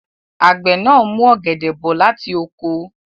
Àgbẹ̀ náà mú ọ̀gẹ̀dẹ̀ bọ̀ láti oko.